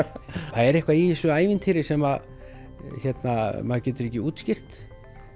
það er eitthvað í þessu ævintýri sem að maður getur ekki útskýrt